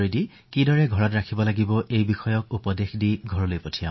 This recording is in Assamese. ঘৰত কিদৰে কোৱাৰেণ্টাইন পালন কৰিব পাৰি সেই বিষয়ে উপদেশ দি পঠিয়াইছো